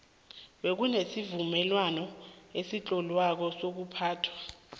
bekunesivumelwano esitloliweko sokuphathwa